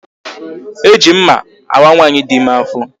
E ji mma awa nwaanyị dị ime afọ